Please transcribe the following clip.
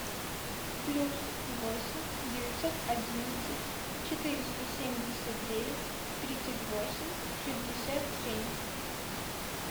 плюс восемь девятьсот одиннадцать четыреста семьдесят девять тридцать восемь шестьдесят семь